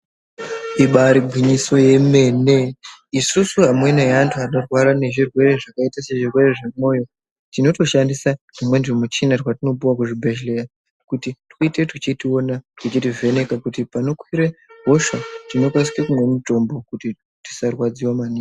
Ibaari gwinyiso yemene isusu amweni eanthu anorwara ngezvirwere zvakaita sezvirwere zvemwoyo tinotoshandisa tumweni tumichina twatinopuwa kuzvibhedhleya kuti tuite tuchitiona nekutivheneka kuitire kuti panokwire hosha tinokasike kumwe mitombo kuti tisarwadziwe maningi.